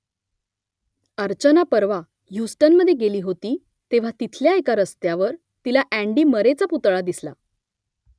अर्चना परवा ह्युस्टनमध्ये गेली होती तेव्हा तिथल्या एका रस्त्यावर तिला अँडी मरेचा पुतळा दिसल